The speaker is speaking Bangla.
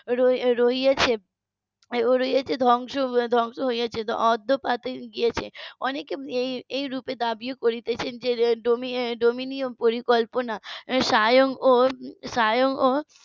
রয়েছে রয়েছে ধ্বংস হয়ে যেত . গিয়েছে অনেকে এই রূপে দাবি করেছে যে ডোমিনিয়ন পরিকল্পনা স্বয়ং ও স্বয়ং ও